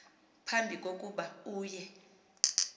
phambi kokuba uye